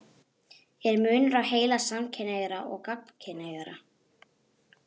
Er munur á heila samkynhneigðra og gagnkynhneigðra?